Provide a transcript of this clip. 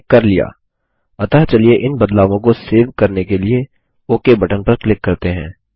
हमने कर लिया अतः चलिए इन बदलावों को सेव करने के लिए ओक बटन पर क्लिक करते हैं